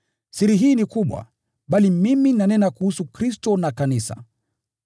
Siri hii ni kubwa, bali mimi nanena kuhusu Kristo na Kanisa.